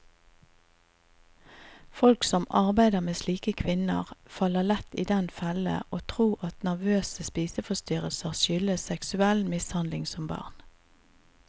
Folk som arbeider med slike kvinner, faller lett i den fellen å tro at nervøse spiseforstyrrelser skyldes seksuell mishandling som barn.